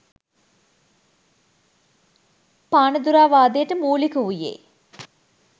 පානදුරාවාදයට මූලික වූයේ